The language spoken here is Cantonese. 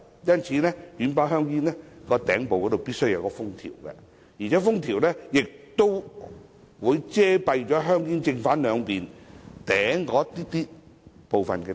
因此，軟包香煙的頂部必須要有封條，而且封條亦會遮蔽香煙正、背兩面頂部部分位置。